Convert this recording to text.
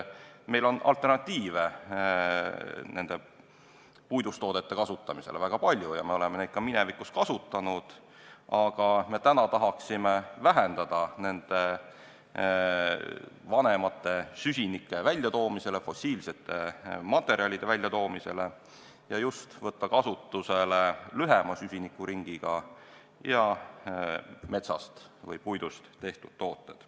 Meil on puidust toodete kasutamisele väga palju alternatiive ja me oleme neid ka minevikus kasutanud, aga täna tahaksime vähendada fossiilsete materjalide kasutamist ja võtta kasutusele lühema süsinikuringiga toorainest ehk siis puidust tehtud tooted.